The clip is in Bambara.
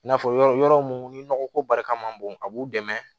I n'a fɔ yɔrɔ yɔrɔ mun ni nɔgɔ ko barika man bon a b'u dɛmɛ